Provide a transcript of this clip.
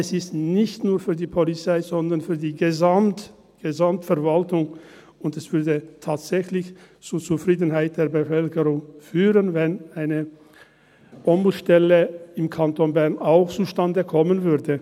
Es ist nicht nur für die Polizei, sondern für die verwaltung, und es würde tatsächlich zu Zufriedenheit der Bevölkerung führen, wenn eine Ombudsstelle auch im Kanton Bern zustande kommen würde.